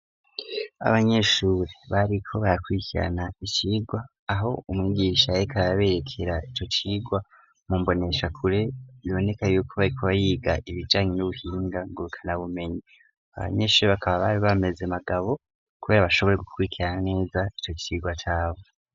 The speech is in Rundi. Abanyeshuri bariko bakwikirana icirwa aho umwigisha reka yaberekera ico cigwa mumbonesha kure biboneka yuko bayikuba yiga ibijanye n'ubuhinga ngo bikana bumenyi abanyeshuri bakaba bari bameze magabo, kubera bashobore gukwikira neza ico cirwa cabo.